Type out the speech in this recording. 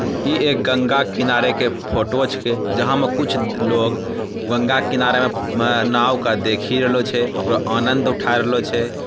ई एक गंगा किनारो के फोटो छेके जहाँ में कुछ लोग गंगा के किनारे में नाव के देखी रहलो छै ओकरो आनंद उठा रहलो छै।